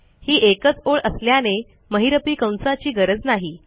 ही एकच ओळ असल्याने महिरपी कंसाची गरज नाही